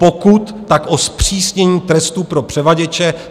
Pokud, tak o zpřísnění trestů pro převaděče.